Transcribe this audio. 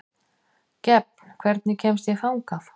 Gefn, hvernig kemst ég þangað?